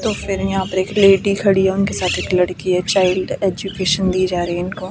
तो फिर यहां पर एक लेडी खड़ी है उनके साथ एक लड़की है चाइल्ड एजुकेशन दी जा रही है इनको।